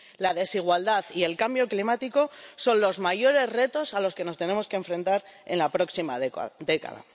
La desigualdad y el cambio climático son los mayores retos a los que nos tenemos que enfrentar en la próxima década.